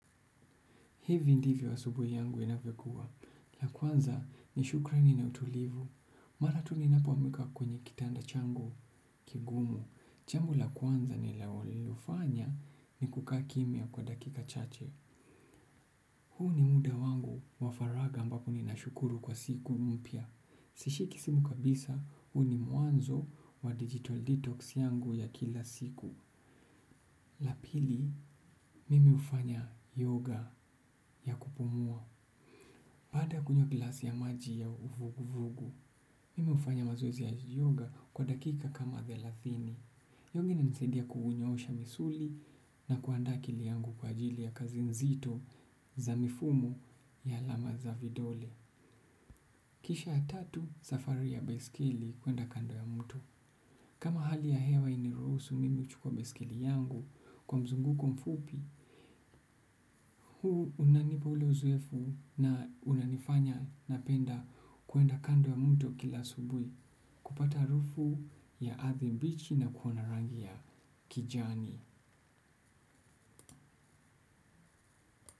Hivi ndivyo asubuhi yangu inavyokuwa. La kwanza ni shukrani na utulivu. Mara tu ninapo amka kwenye kitanda changu kigumu. Jambo la kwanza ninalo lifanya ni kukaa kimia kwa dakika chache. Huu ni muda wangu wa faraka ambapo nina shukuru kwa siku mpya. Sishiki simu kabisa huu ni mwanzo wa detox yangu ya kila siku la pili, mimi hufanya yoga ya kupumua. Baada ya kunywa glasi ya maji ya uvuguuvugu, mimi hufanya mazoezi ya yoga kwa dakika kama thelathini. Yoga inanisaidia kuunyosha misuli na kuandaa akili yangu kwa ajili ya kazi nzito za mifumu ya alama za vidole. Kisha ya tatu safari ya baiskeli kuenda kando ya mto. Kama hali ya hewa hainiruhusu mimi kuchukua baiskeli yangu kwa mzunguko mfupi, huu unanipa hule uzoefu na unanifanya napenda kwenda kando ya mto kila asubuhi kupata harufu ya ardhi mbichi na kuona rangi ya kijani.